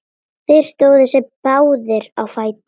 Þeir stóðu báðir á fætur.